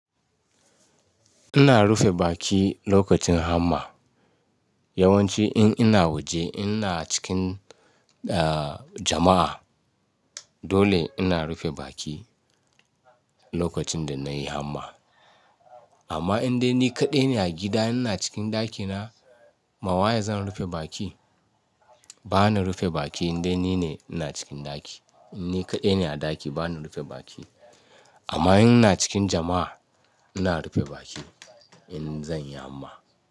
Ina rufe baki lokacin hamma. Yawanci in ina waje ina cikin, a, jama'a dole ina rufe baki lokacin da nayi hamma. Amma idan ni kaɗai ne a gida ina cikin ɗakina, ma waye zan rufe baki? Bana rufe baki idan nine ina cikin ɗaki. In ni kaɗai ne a ɗaki bana rufe baki. Amma in ina cikin jama'a ina rufe baki in zan yi hamma.